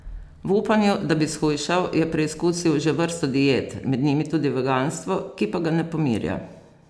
V upanju, da bi shujšal, je preizkusil že vrsto diet, med njimi tudi veganstvo, ki pa ga ne pomirja.